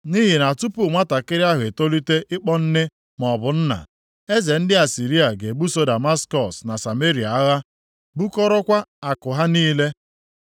Nʼihi na tupu nwantakịrị ahụ etolite ịkpọ nne maọbụ nna, eze ndị Asịrịa ga-ebuso Damaskọs na Sameria agha, bukọrọkwa akụ ha niile.”